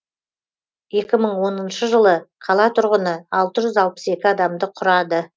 екі мың оныншы жылы қала тұрғыны алты жүз алпыс екі адамды құрады